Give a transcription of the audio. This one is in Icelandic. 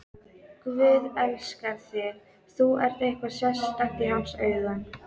Guð elskar þig, þú ert eitthvað sérstakt í hans augum.